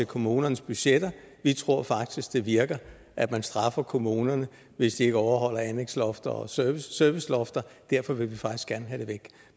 kommunernes budgetter vi tror faktisk det virker at man straffer kommunerne hvis de ikke overholder anlægslofter og servicelofter derfor vil vi faktisk gerne have dem væk